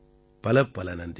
பலப்பல நன்றிகள்